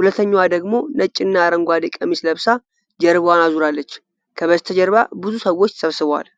ሁለተኛዋ ደግሞ ነጭና አረንጓዴ ቀሚስ ለብሳ ጀርባዋን አዙራለች። ከበስተጀርባ ብዙ ሰዎች ተሰብስበዋል።